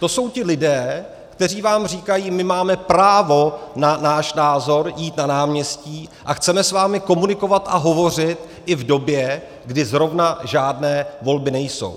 To jsou ti lidé, kteří vám říkají: my máme právo na náš názor, jít na náměstí a chceme s vámi komunikovat a hovořit i v době, kdy zrovna žádné volby nejsou.